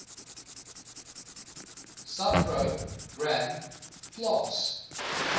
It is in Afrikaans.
subpro gram plaas